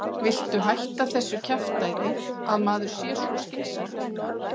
VILTU HÆTTA ÞESSU KJAFTÆÐI AÐ MAÐUR SÉ SVO SKYNSAMUR